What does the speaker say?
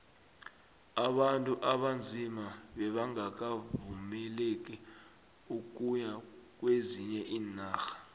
abantu abanzima bebangakavumeleki ukuya kwezinye iinarha